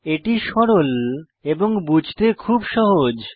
এটি সরল এবং বুঝতে খুব সহজ